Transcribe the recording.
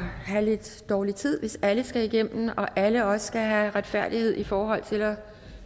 have lidt dårlig tid hvis alle skal igennem og alle også skal have retfærdighed i forhold til at